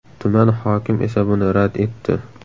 Tuman hokim esa buni rad etdi.